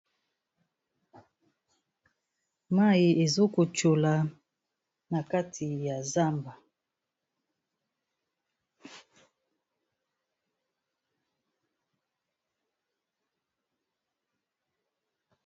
Mayi ezo ko tshola na kati ya zamba.